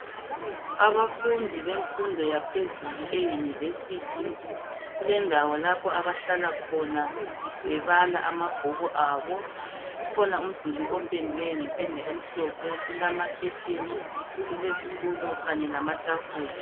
Abafundi bemfundo yaphezulu ye University kulendawo lapho abahlala khona bebala amabhuku abo. Ukhona umduli opendwe ngependa emhlophe kulama khetheni kulezitulo kanye lamatafula.